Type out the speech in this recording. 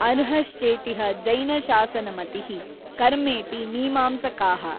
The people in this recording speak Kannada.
ಅರ್ಹಶ್ಚೇತಿಹ ಜೈನಶಾಸನಮತಿಃ ಕರ್ಮೇತಿ ಮೀಮಾಂಸಕಾಃ।